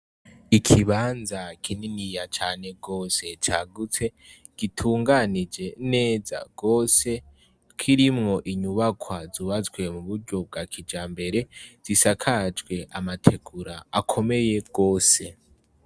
Ikibanza kininiya cane gose cagutse, gitunganije neza gose, kirimwo inyubakwa zubatswe mu buryo bwa kijambere, zisakajwe amategura akomeye gose.